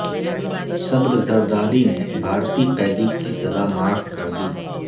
صدر زرداری نے بھارتی قیدی کی سزا معاف کردی